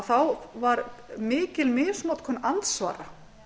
þá var mikil misnotkun andsvara